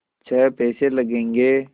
छः पैसे लगेंगे